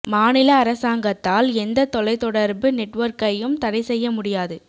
மாநில அரசாங்கத்தால் எந்த தொலைத் தொடர்பு நெட்வொர்க்கையும் தடை செய்ய முடியாது